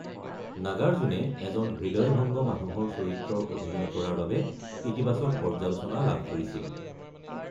নাগাৰ্জুনে এজন হৃদয়ভংগ মানুহৰ চৰিত্ৰৰ অভিনয় কৰাৰ বাবে ইতিবাচক পৰ্যালোচনা লাভ কৰিছিল।